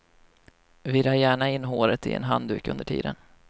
Vira gärna in håret i en handduk under tiden.